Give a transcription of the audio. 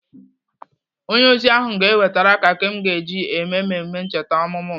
Onye ozi ahụ ga-ewetere keki m ga-eji eme mmemme ncheta ọmụmụ m.